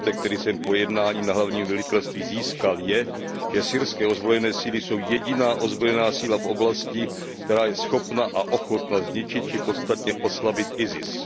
poznatek, který jsem po jednání na hlavním velitelství získal, je, že syrské ozbrojené síly jsou jediná ozbrojená síla v oblasti, která je schopna a ochotna zničit či podstatně oslabit ISIS.